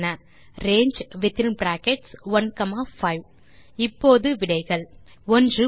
range within brackets 15 இப்போது விடைகள் 1பொய்